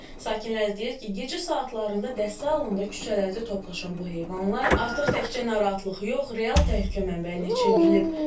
Sakinlər deyir ki, gecə saatlarında dəstə halında küçələrdə toplaşan bu heyvanlar artıq təkcə narahatlıq yox, real təhlükə mənbəyinə çevrilib.